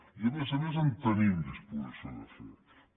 i a més a més tenim disposició de fer ho